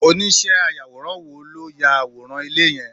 Oniíṣẹ́ ayàwòrán wo ló ya àwòrán ilé yẹn?